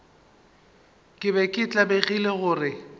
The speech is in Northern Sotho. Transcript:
ke be ke tlabegile gore